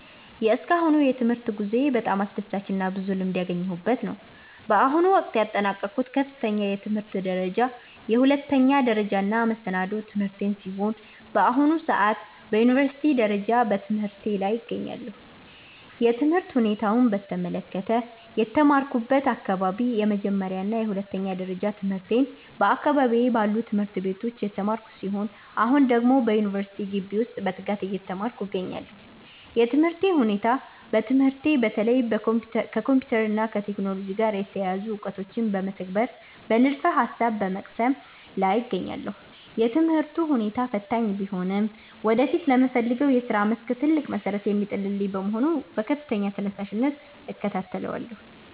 የእስካሁኑ የትምህርት ጉዞዬ በጣም አስደሳችና ብዙ ልምድ ያገኘሁበት ነው። በአሁኑ ወቅት ያጠናቀቅኩት ከፍተኛ የትምህርት ደረጃ የሁለተኛ ደረጃና መሰናዶ ትምህርቴን ሲሆን፣ በአሁኑ ሰዓት በዩኒቨርሲቲ ደረጃ በትምህርቴ ላይ እገኛለሁ። የትምህርት ሁኔታዬን በተመለከተ፦ የተማርኩበት አካባቢ፦ የመጀመሪያና የሁለተኛ ደረጃ ትምህርቴን በአካባቢዬ ባሉ ትምህርት ቤቶች የተማርኩ ሲሆን፣ አሁን ደግሞ በዩኒቨርሲቲ ግቢ ውስጥ በትጋት እየተማርኩ እገኛለሁ። የትምህርቱ ሁኔታ፦ በትምህርቴ በተለይ ከኮምፒውተር እና ከቴክኖሎጂ ጋር የተያያዙ እውቀቶችን በተግባርና በንድፈ-ሐሳብ በመቅሰም ላይ እገኛለሁ። የትምህርቱ ሁኔታ ፈታኝ ቢሆንም ወደፊት ለምፈልገው የሥራ መስክ ትልቅ መሠረት የሚጥልልኝ በመሆኑ በከፍተኛ ተነሳሽነት እከታተለዋለሁ።